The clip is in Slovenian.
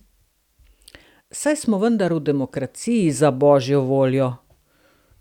Saj smo vendar v demokraciji, za božjo voljo!